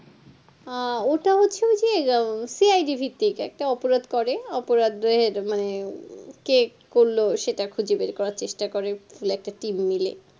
আহ ওটা হচ্ছে ওই যে আহ CIDVictim একটা অপরাধ করে অপরাধের মানে কে কি করলো সেটা খুঁজে বের করা চেষ্টা করে পুরো একটা team নিয়ে